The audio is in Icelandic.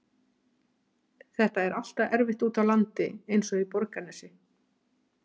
Þetta er alltaf erfitt úti á landi eins og í Borgarnesi.